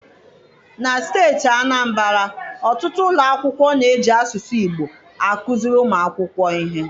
Na steeti Anambara, ọtụtụ ụlọ akwụkwọ na-eji asụsụ Igbo akụziri ụmụ akwụkwọ ihe.